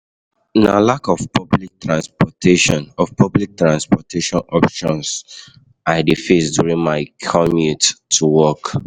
Na lack of public transportation of public transportation options I dey face during my commute to work.